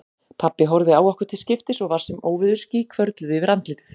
Pabbi horfði á okkur til skiptis og var sem óveðursský hvörfluðu yfir andlitið.